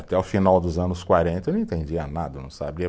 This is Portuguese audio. Até o final dos anos quarenta eu não entendia nada, eu não sabia